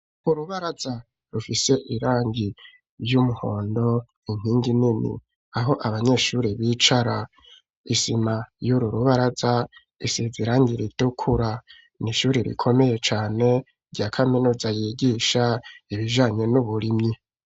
Urubaraza rufise irangi ry'umuhondo inkingi nini aho abanyeshuri bicara isima y'ururubaraza isizerangi ritukura n'ishuri rikomeye cane rya kaminuza yigisha ibijanye n'uburimyi.